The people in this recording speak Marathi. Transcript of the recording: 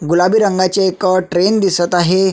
गुलाबी रंगाची एक ट्रेन दिसत आहे.